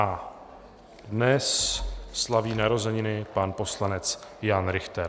A dnes slaví narozeniny pan poslanec Jan Richter.